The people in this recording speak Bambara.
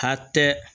A hakɛ